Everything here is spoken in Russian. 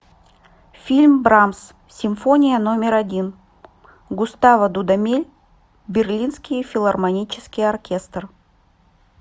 фильм брамс симфония номер один густаво дудамель берлинский филармонический оркестр